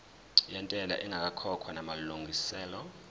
yentela ingakakhokhwa namalungiselo